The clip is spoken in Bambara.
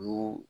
U y'u